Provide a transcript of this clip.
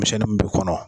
Misi mun b'i kɔnɔ